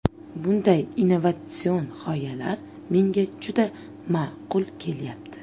Bunday innovatsion g‘oyalar menga juda ma’qul kelyapti.